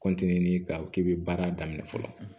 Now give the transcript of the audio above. k'a fɔ k'i bɛ baara daminɛ fɔlɔ